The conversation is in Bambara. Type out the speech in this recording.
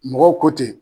Mɔgɔw ko ten